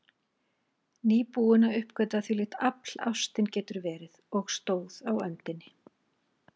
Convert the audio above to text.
Nýbúin að uppgötva hvílíkt afl ástin getur verið, og stóð á öndinni.